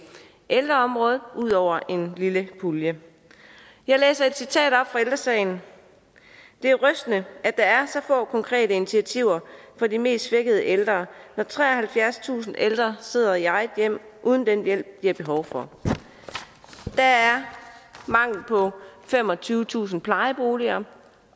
ældreområdet ud over en lille pulje jeg læser et citat op fra ældre sagen det er rystende at der er så få konkrete initiativer for de mest svækkede ældre når treoghalvfjerdstusind ældre sidder i eget hjem uden den hjælp de har behov for der er mangel på femogtyvetusind plejeboliger